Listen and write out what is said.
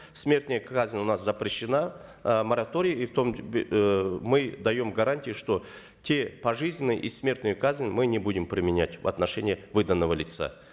смертная казнь у нас запрещена э мораторий и в том э мы даем гарантии что те пожизненные и смертную казнь мы не будем применять в отношении выданного лица